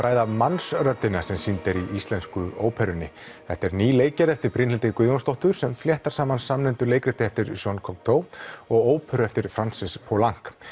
ræða Mannsröddina sem sýnd er í íslensku óperunni þetta er ný leikgerð eftir Brynhildi Guðjónsdóttir sem fléttar saman samnefndu leikriti eftir Jean Couctaeu og óperu eftir Francis Poulenc